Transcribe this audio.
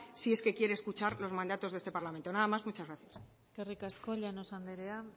si es que quiere escuchar los mandatos de este parlamento nada más y muchas gracias eskerrik asko llanos andrea